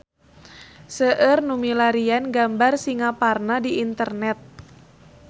Seueur nu milarian gambar Singaparna di internet